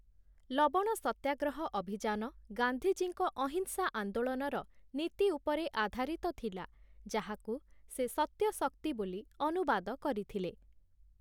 ଲବଣ ସତ୍ୟାଗ୍ରହ ଅଭିଯାନ ଗାନ୍ଧୀଜୀଙ୍କ ଅହିଂସା ଆନ୍ଦୋଳନର ନୀତି ଉପରେ ଆଧାରିତ ଥିଲା । ଯାହାକୁ ସେ ସତ୍ୟ-ଶକ୍ତି ବୋଲି ଅନୁବାଦ କରିଥିଲେ ।